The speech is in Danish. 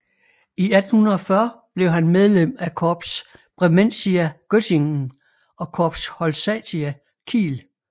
I 1840 blev han medlem af Corps Bremensia Göttingen og Corps Holsatia Kiel